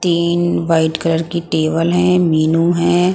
तीन white colour की table है मेनू है.